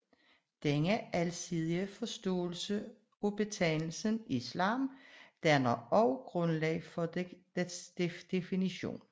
Denne alsidige forståelse af betegnelsen islam danner også grundlag for dets definition